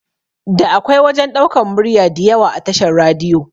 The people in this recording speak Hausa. Da akwai wajan ɗaukan murya diyawa a tashar radiyo